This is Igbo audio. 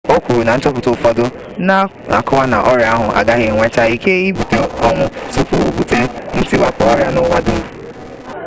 o kwuru na nchọpụta ụfọdụ na-akọwa na ọrịa ahụ agaghị enwecha ike ibute ọnwụ tupu o bute ntiwapụ ọrịa n'ụwa dum